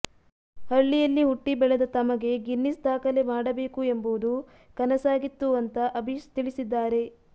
ಹಳ್ಳಿಯಲ್ಲಿ ಹುಟ್ಟಿ ಬೆಳೆದ ತಮಗೆ ಗಿನ್ನಿಸ್ ದಾಖಲೆ ಮಾಡಬೇಕು ಎಂಬುದು ಕನಸಾಗಿತ್ತು ಅಂತಾ ಅಭೀಶ್ ತಿಳಿಸಿದ್ದಾರೆ